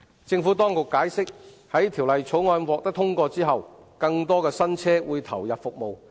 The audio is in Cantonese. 政府當局解釋，在《條例草案》獲得通過後，更多新車會投入服務。